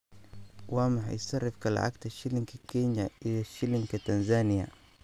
Waa maxay sarifka lacagta shilinka Kenya iyo shilinka Tanzania?